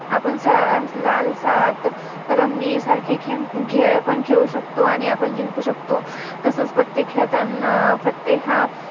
आपण लाल सात Rummy सारखे Game पण खेळू शकतो आणि आपण जिंकू शकतो अह तसच पत्ते खेळताना पत्ते हा